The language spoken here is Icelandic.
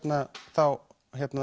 þá